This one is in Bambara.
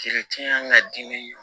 ka di ni